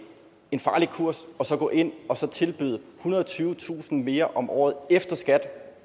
en farlig kurs at gå ind og tilbyde ethundrede og tyvetusind kroner mere om året efter skat